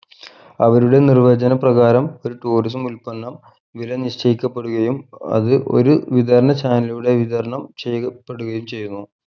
അവരുടെ നിർവചന പ്രകാരം ഒരു tourism ഉൽപ്പന്നം വില നിശ്ചയിക്കപെടുകയും അത് ഒരു വിതരണ channel ലൂടെ വിതരണം ചെയ്യ പെടുകയും ചെയ്യുന്നു